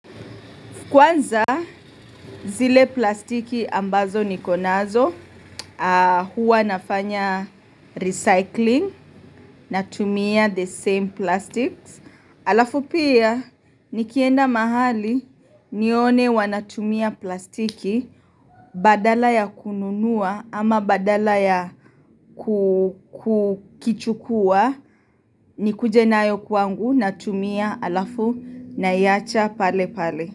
Kwanza zile plastiki ambazo nikonazo huwa nafanya recycling natumia the same plastics. Alafu pia nikienda mahali nione wanatumia plastiki badala ya kununua ama badala ya kukichukua nikujenayo kwangu natumia alafu naiacha pale pale.